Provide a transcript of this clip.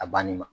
A banni ma